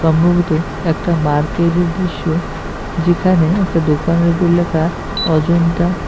সম্ভবত একটা মার্কেটের দৃশ্য যেখানে একটা দোকানের উপর লেখা অজন্তা।